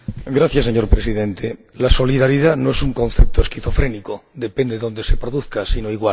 Señor Presidente, la solidaridad no es un concepto esquizofrénico ―depende de dónde se produzca―, sino igual.